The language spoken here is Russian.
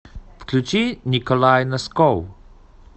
включи николай носков